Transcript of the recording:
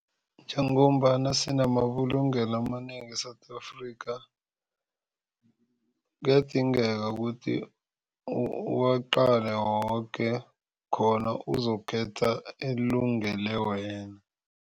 Njengombana sinamabulungelo amanengi e-South Afrika kuyadingeka ukuthi uwaqale woke khona uzokukhetha elungele wena.